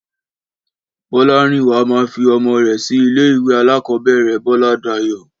Bọ́lárìnwá máa fi ọmọ rẹ̀ sí ilé ìwé alákọ̀ọ́bẹ̀rẹ̀ Bọ́ládayọ̀